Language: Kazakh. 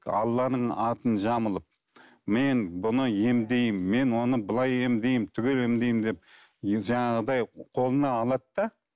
алланың атын жамылып мен бұны емдеймін мен оны былай емдеймін түгел емдеймін деп жаңағыдай қолына алады да